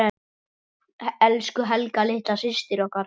Elsku Helga litla systir okkar.